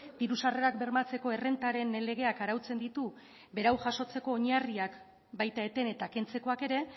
diru sarrerak bermatzeko errentaren legeak arautzen ditu berau jasotzeko oinarriak baita eten eta kentzekoak ere